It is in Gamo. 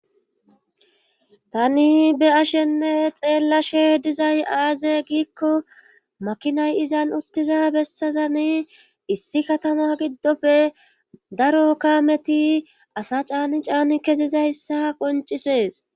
Tani be ashenne xeellashe dizay aaze giikko makinay izan uttiza bessazani issi katama giddofe daro kaameti asa caani caani kesiza hyssa qoncisees.